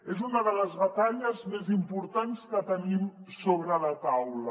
és una de les batalles més importants que tenim sobre la taula